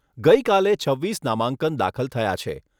ગઈકાલે છવ્વીસ નામાંકન દાખલ થયા છે.